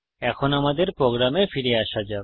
এখন আমাদের প্রোগ্রামে ফিরে আসা যাক